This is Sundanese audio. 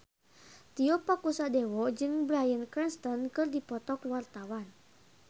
Tio Pakusadewo jeung Bryan Cranston keur dipoto ku wartawan